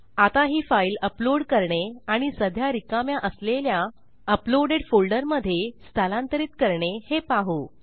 आता ही file upload करणे आणि सध्या रिकाम्या असलेल्या अपलोडेड फोल्डरमधे स्थलांतरित करणे हे पाहू